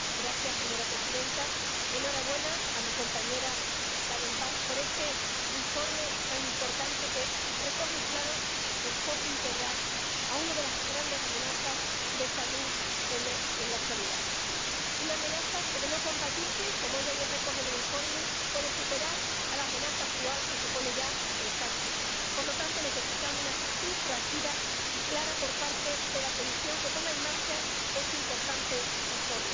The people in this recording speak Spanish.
Señora presidenta, enhorabuena a mi compañera Kadenbach por este informe tan importante, que recoge un claro enfoque integral a una de las grandes amenazas de salud en la actualidad, una amenaza que de no combatirse —como ella bien recoge en el informe— puede superar a la amenaza actual que supone ya el cáncer. Por lo tanto, necesitamos una actitud proactiva y clara por parte de la Comisión, que ponga en marcha este importante informe.